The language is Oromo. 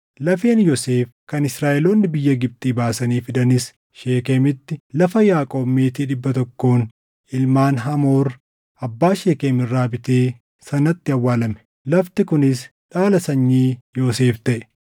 Lafeen Yoosef kan Israaʼeloonni biyya Gibxii baasanii fidanis Sheekemitti lafa Yaaqoob meetii dhibba tokkoon ilmaan Hamoor, abbaa Sheekem irraa bitee sanatti awwaalame. Lafti kunis dhaala sanyii Yoosef taʼe.